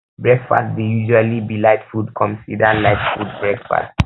breakfast dey usually be light food comsider light food for breakfast